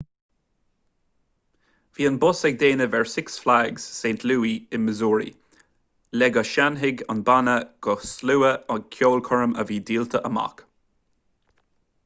bhí an bus ag déanamh ar six flags st louis i missouri le go seinnfeadh an banna do shlua ag ceolchoirm a bhí díolta amach